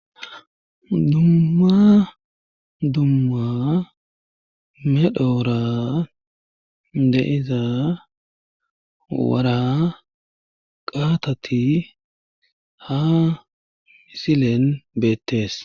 Dummma dumma medhoora deiza wara qaatati ha misilen beettees.